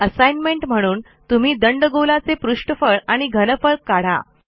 assignment म्हणून तुम्ही दंडगोलाचे पृष्ठफळ आणि घनफळ काढा